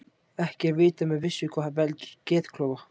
ekki er vitað með vissu hvað veldur geðklofa